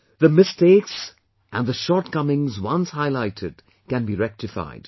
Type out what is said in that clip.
The mistakes and the shortcomings once highlighted can be rectified